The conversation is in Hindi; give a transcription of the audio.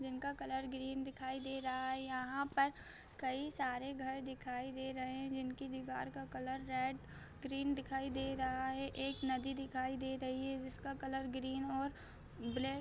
जिनका कलर ग्रीन दिखाई दे रहा है यहाँ पर कई सारे घर दिखाई दे रहे हैं जिनकी दीवार का कलर रेड ग्रीन दिखाई दे रहा है एक नदी दिखाई दे रही है जिसका कलर ग्रीन और ब्लैक--